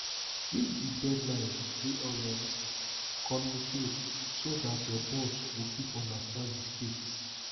if di deadline dey unrealistic communicate so dat your boss go fit understand di stakes